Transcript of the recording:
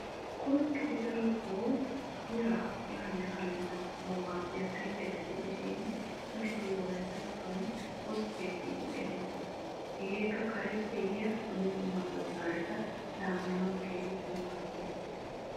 koskketi darotoo biraa yaanne haanne laamanawu maadiya suyqqetta gidishin darotoo wolayttatuwan koskkiya geetetti xeesettes. hegeekka kareppe yiya dumma dumma doolaretta laamanawu keehippe maaddees.